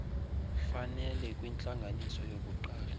fanele kwintlanganiso yokuqala